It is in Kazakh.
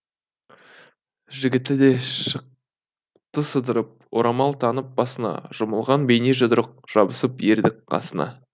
жігіті де шықты сыдырып орамал таңып басына жұмылған бейне жұдырық жабысып ердің қасына